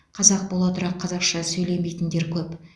қазақ бола тұра қазақша сөйлемейтіндер көп